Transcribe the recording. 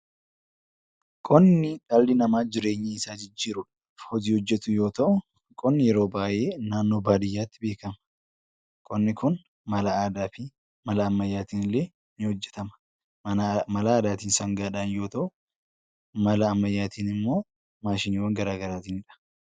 Qonni dhalli namaa jireenya isaa jijjiiruuf kan hojjetu yoo ta'u yeroo baay'ee naannoo baadiyyaatti beekama. Qonni Kun mala aadaa fi ammayyaatiin ni hojjetama. Mala aadaatiin sangaadhaan yoo ta'u mala ammayyaatiin immoo maashinoota garagaraatiin ta'uu danda'a.